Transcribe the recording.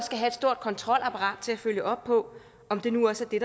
have et stort kontrolapparat til at følge op på om det nu også er